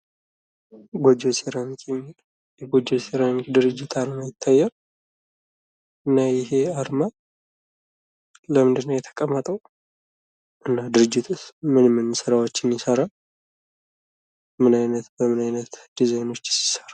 ጎጆ ሴራሚክ የጎጆ ሴራሚክ ድርጅት አርማ ይታያል። እና ይሄ አርማ ለምንድነው የተቀመጠው? እና ድርጅቱስ ምን ምን ስራዎችን ይሰራል? በምን አይነት ዲዛይኖቹ ይሰራል?